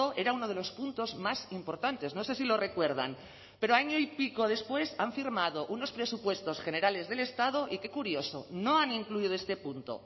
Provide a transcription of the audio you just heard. era uno de los puntos más importantes no sé si lo recuerdan pero año y pico después han firmado unos presupuestos generales del estado y qué curioso no han incluido este punto